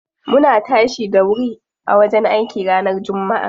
Muna tashi da wuri a wajen aiki ranar jummaa.